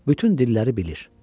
Bütün dilləri bilir.